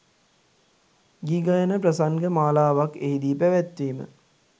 ගී ගයන ප්‍රසංග මාලාවක් එහිදී පැවැත්වීම